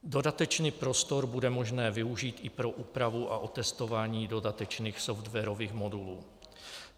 Dodatečný prostor bude možné využít i pro úpravu a otestování dodatečných softwarových modulů.